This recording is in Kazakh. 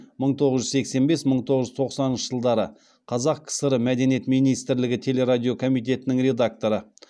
мың тоғыз жүз сексен бес мың тоғыз жүз тоқсаныншы жылдары қазақ кср мәдениет министрлігі телерадио комитетінің редакторы